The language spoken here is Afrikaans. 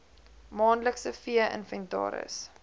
maandelikse vee inventaris